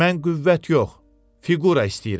Mən qüvvət yox, fiqura istəyirəm.